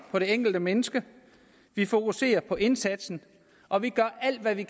på det enkelte menneske vi fokuserer på indsatsen og vi gør alt hvad vi